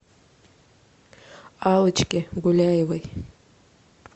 аллочке гуляевой